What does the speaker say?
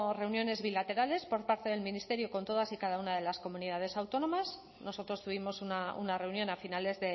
reuniones bilaterales por parte del ministerio con todas y cada una de las comunidades autónomas nosotros tuvimos una reunión a finales